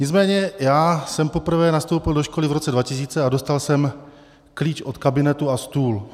Nicméně já jsem poprvé nastoupil do školy v roce 2000 a dostal jsem klíč od kabinetu a stůl.